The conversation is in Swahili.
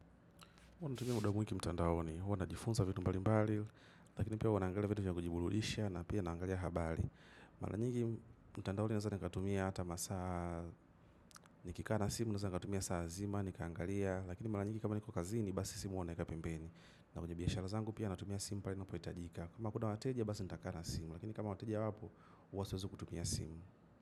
HuWa natumia muda mwingi mtandaoni, huwa najifunza vitu mbali mbali, lakini pia huwa naangalia vitu vya kujiburudisha na pia naangalia habari. Mara nyingi mtandaoni naweza nikatumia hata masaa nikikaa na simu naweza nikatumia saa zima, nikaangalia, lakini mara nyigi kama niko kazini, basi simu huwa nawekapembeni. Na kwenye biashara zangu pia natumia simu pale inapohitajika. Kama kuna wateja basi nitakaa na simu, lakini kama wateja wapo, huwa siwezi kutumia simu.